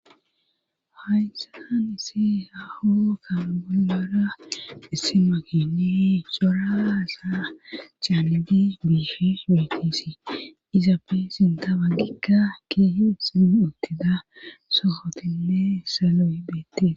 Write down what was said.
Hayssan tan isi haho san bulora issima kiiyi sora asaa caaliji biifis weekkisi izappe sinta paggikka keeh sim ottida sohotinne saloy beettes